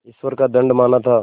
ईश्वर का दंड माना था